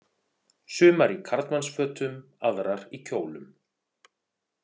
Sumar í karlmannsfötum, aðrar í kjólum.